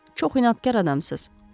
Çox inadkar adamsız.